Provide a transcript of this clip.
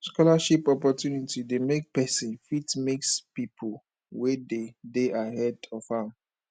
scholarship opportunity de make persin fit mix pipo wey de de ahead of am